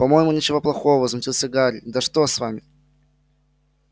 по-моему ничего плохого возмутился гарри да что с вами